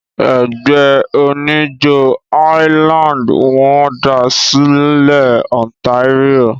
Ẹgbẹ́ oníjó highland wọ́n da sílẹ̀ Ontario.